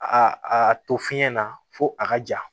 A a to fiɲɛ na fo a ka ja